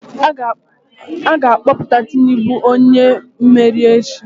A ga-akpọpụta Tinubu onye mmeri echi